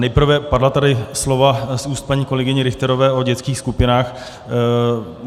Nejprve padla tady slova z úst paní kolegyně Richterové o dětských skupinách.